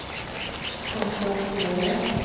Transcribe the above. konstaterade